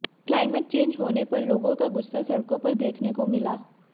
climate change होने पर लोगों का गुस्सा सड़कों पर देखने को मिला